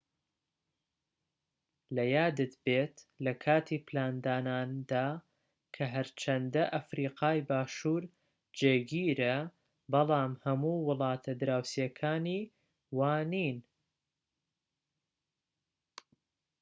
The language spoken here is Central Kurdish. لەیادت بێت لەکاتی پلانداناندا کە هەرچەندە ئەفریقای باشوور جێگیرە بەڵام هەموو وڵاتە دراوسێکانی وانین